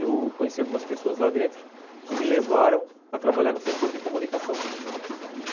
Eu conheci algumas pessoas lá dentro que me levaram a trabalhar no setor de comunicação.